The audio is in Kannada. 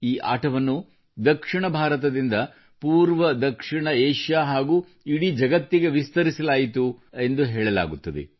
ಈ ಆಟವನ್ನು ದಕ್ಷಿಣ ಭಾರತದಿಂದ ದಕ್ಷಿಣಪೂರ್ವ ಏಷ್ಯಾ ಹಾಗೂ ಇಡೀ ಜಗತ್ತಿನಲ್ಲಿ ಆಡಲಾಗುತ್ತದೆ ಎಂದು ಹೇಳಲಾಗುತ್ತದೆ